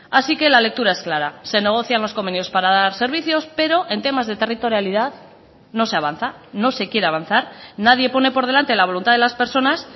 así que la lectura es clara se negocian los convenios para dar servicios pero en temas de territorialidad no se avanza no se quiere avanzar nadie pone por delante la voluntad de las personas